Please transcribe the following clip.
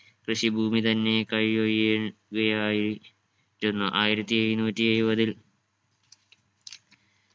കൃഷിഭൂമി തന്നെ കയ്യൊഴിയ യുകയായി രുന്നു ആയിരത്തി എഴുനൂറ്റി എഴുപതിൽ